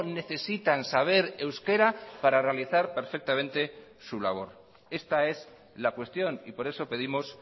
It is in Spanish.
necesitan saber euskera para realizar perfectamente su labor esta es la cuestión y por eso pedimos